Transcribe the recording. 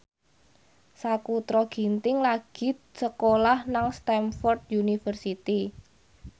Sakutra Ginting lagi sekolah nang Stamford University